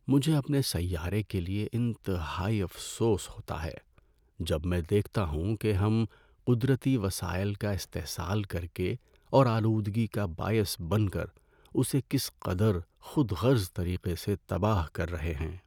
مجھے اپنے سیارے کے لیے انتہائی افسوس ہوتا ہے جب میں دیکھتا ہوں کہ ہم قدرتی وسائل کا استحصال کر کے اور آلودگی کا باعث بن کر اسے کس قدر خود غرض طریقے سے تباہ کر رہے ہیں۔